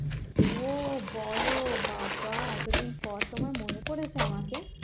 ও বলো বা বা এতোদিন পর তোমার মনে পড়েছে আমাকে